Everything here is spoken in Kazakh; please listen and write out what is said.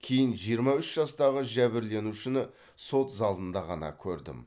кейін жиырма үш жастағы жәбірленушіні сот залында ғана көрдім